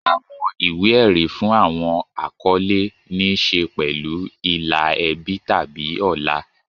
Àwọn ìwé-ẹ̀rí fún àwọn àkọlé ní í ṣe pẹ̀lú ìlà ẹbí tàbí ọlá.